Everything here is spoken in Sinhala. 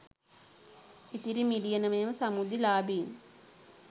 ඉතිරි මිලියනම සමෘද්ධි ලාභීන්